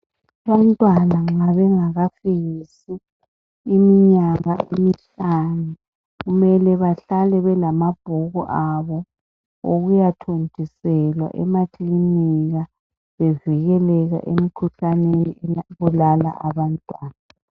Abantwana nxa bengakafikisi iminyaka emihlanu kumele bahlale belamabhuku abo okuyathontiselwa emakilinika bevikeleka emikhuhlaneni ebulala abantwana.